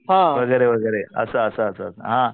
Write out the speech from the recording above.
वगैरे वगैरे असं असं असं हां